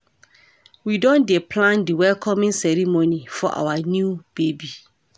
We don dey plan di welcoming ceremony for our new baby.